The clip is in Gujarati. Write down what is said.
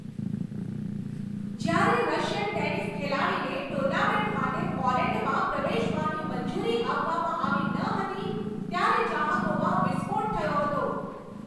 જ્યારે રશિયન ટેનિસ ખેલાડીને ટુર્નામેન્ટ માટે પોલેન્ડમાં પ્રવેશવાની મંજૂરી આપવામાં આવી ન હતી ત્યારે ચાહકોમાં વિસ્ફોટ થયો હતો.